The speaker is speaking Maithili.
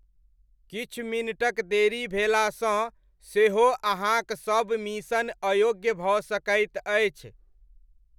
किछु मिनटक देरी भेलासँ सेहो अहाँक सबमिशन अयोग्य भऽ सकैत अछि।